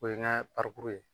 O ye n ka ye.